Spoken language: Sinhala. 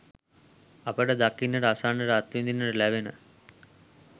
අපට දකින්නට, අසන්නට, අත්විඳින්නට ලැබෙන